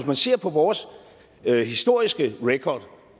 man ser på vores historiske record